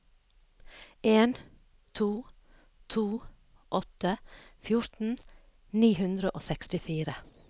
en to to åtte fjorten ni hundre og sekstifire